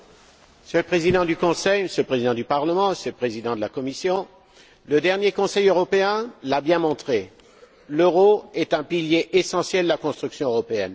Monsieur le Président du Conseil, Monsieur le Président du Parlement, Monsieur le Président de la Commission, le dernier Conseil européen l'a bien montré, l'euro est un pilier essentiel de la construction européenne.